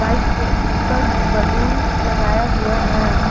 Bike के ऊपर में बैलून लगाया हुआ है।